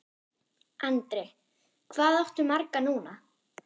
Andri: Hvað áttu marga núna?